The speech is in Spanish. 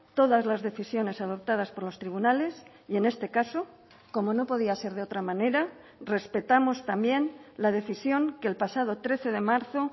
todas las decisiones adoptadas por los tribunales y en este caso como no podía ser de otra manera respetamos también la decisión que el pasado trece de marzo